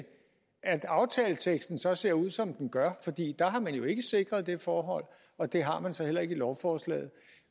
at aftaleteksten så ser ud som den gør fordi der har man jo ikke sikret det forhold og det har man så heller ikke i lovforslaget